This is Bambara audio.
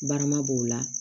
Barama b'o la